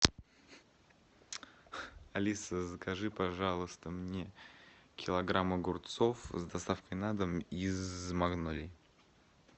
алиса закажи пожалуйста мне килограмм огурцов с доставкой на дом из магнолии